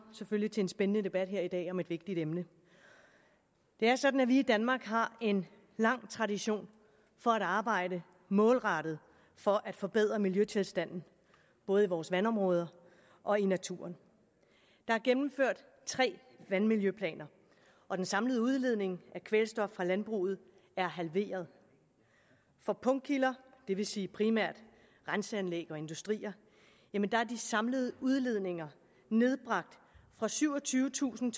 selvfølgelig til en spændende debat her i dag om et vigtigt emne det er sådan at vi i danmark har en lang tradition for at arbejde målrettet for at forbedre miljøtilstanden både i vores vandområder og i naturen der er gennemført tre vandmiljøplaner og den samlede udledning af kvælstof fra landbruget er halveret på punktkilder det vil sige primært renseanlæg og industrier er de samlede udledninger nedbragt fra syvogtyvetusind